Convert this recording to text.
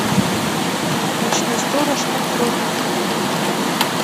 ночной сторож открой мне